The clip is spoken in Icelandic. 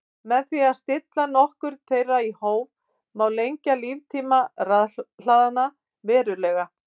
Með því að stilla notkun þeirra í hóf má lengja líftíma rafhlaðanna verulega.